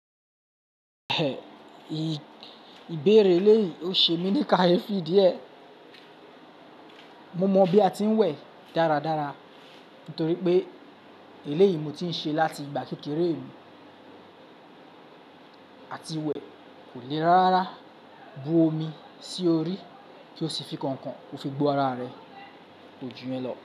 Ì-ìbẹ̀rẹ̀ eléyìí ò ṣe mí ní káyefi díẹ̀. Mo mọ bí a ti ń wẹ̀ dáradára nítorí pé eléyìí mo ti ń ṣe láti ìgbà kékeré mi. A ti wẹ̀ kò le rárá bu omi sí orí kí ó sì fi kànkàn kó fi gno ara rẹ̀, kó jù yẹn lọ.